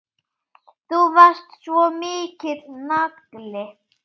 Þú varst svo mikill nagli.